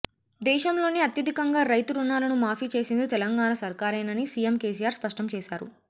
దేశంలోనే అత్యధికంగా రైతు రుణాలను మాఫీ చేసింది తెలంగాణ సర్కారేనని సీఎం కేసీఆర్ స్పష్టం చేశారు